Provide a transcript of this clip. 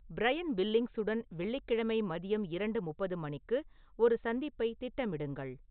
Brian பில்லிங்ஸுடன் வெள்ளிக்கிழமை மதியம் இரண்டு முப்பது மணிக்கு ஒரு சந்திப்பை திட்டமிடுங்கள்